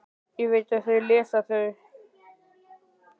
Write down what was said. Ég veit að þeir lesa þau.